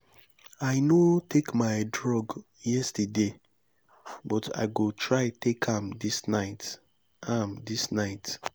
i no take my drug yesterday but i go try take am dis night am dis night